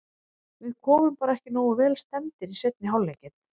Við komum bara ekki nógu vel stemmdir í seinni hálfleikinn.